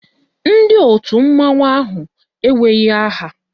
Ndị òtù mmanwụ ahụ enweghị aha.